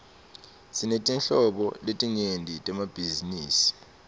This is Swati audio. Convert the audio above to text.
sinetinhlobo letinyenti temabhizinisi